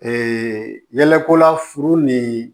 yɛlɛko la furu ni